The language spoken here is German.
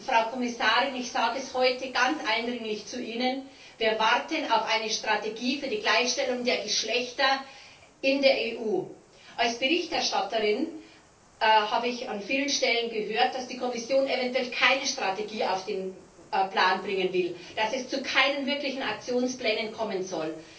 Frau Kommissarin, ich sage es Ihnen heute ganz eindringlich Wir warten auf eine Strategie für die Gleichstellung der Geschlechter in der EU! Als Berichterstatterin habe ich an vielen Stellen gehört, dass die Kommission eventuell keine Strategie auf den Plan bringen will, dass es zu keinen wirklichen Aktionsplänen kommen soll.